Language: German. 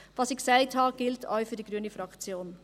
Was ich sagte, gilt auch für die grüne Fraktion.